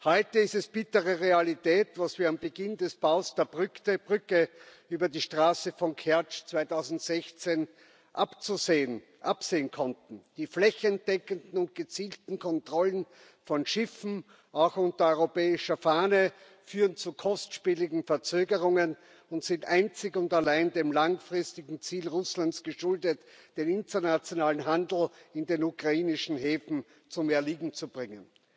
Heute ist es bittere Realität, was wir am Beginn des Baus der Brücke über die Straße von Kertsch 2016 absehen konnten Die flächendeckenden und gezielten Kontrollen von Schiffen auch unter europäischer Flagge führen zu kostspieligen Verzögerungen und sind einzig und allein dem langfristigen Ziel Russlands geschuldet, den internationalen Handel in den ukrainischen Häfen zum Erliegen zu bringen.